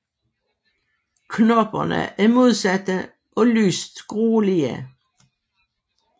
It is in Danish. Knopperne er modsatte og lyst grålige